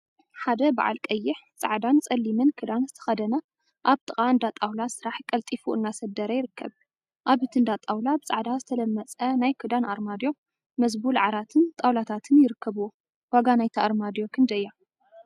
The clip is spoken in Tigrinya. ሓደ በዓል ቀይሕ፣ ፃዕዳን ፀሊምን ክዳን ዝተከደነ አብ ጥቃ እንዳጣውላ ስራሕ ቀልጢፉ እናሰደረ ይርከብ፡፡ አብ እቲ እንዳ ጣውላ ብፃዕዳ ዝተለመፀ ናይ ክዳን አርማድዮ፣ መዝቡል ዓራትን ጣውላታትን ይርከቡዎ፡፡ ዋጋ ናይታ አርማድዮ ክንደይ እያ?